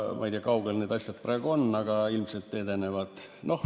Ma ei tea, kui kaugel need asjad praegu on, aga ilmselt edenevad.